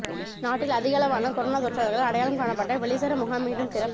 நாட்டில் அதிகளவான கொரோனா தொற்றாளர்கள் அடையாளம் காணப்பட்ட வெலிசர முகாம் மீண்டும் திறப்